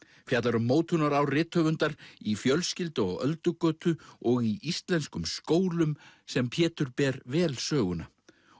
fjallar um rithöfundar í fjölskyldu á Öldugötu og í íslenskum skólum sem Pétur ber vel söguna